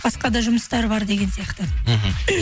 басқа да жұмыстар бар деген сияқты мхм